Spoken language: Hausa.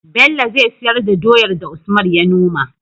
Bello zai siyar da doyar da usman ya noma